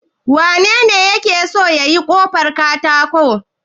Wanene yake so yayi ƙofar katakon?